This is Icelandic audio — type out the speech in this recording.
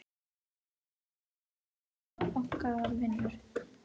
Okkur var leyft að vinna okkar vinnu.